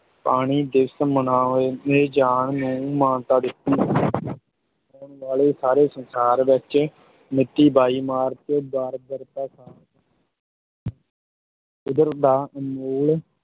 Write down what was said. ਪਾਣੀ ਦਿਵਸ ਮਨਾਏ ਜਾਣ ਨੂੰ ਮਾਨਤਾ ਦਿੱਤੀ ਹੋਣ ਵਾਲੇ ਸਾਰੇ ਸੰਸਾਰ ਵਿੱਚ ਮਿਤੀ ਬਾਈ ਮਾਰਚ ਕੁਦਰਤ ਦਾ ਅਨਮੋਲ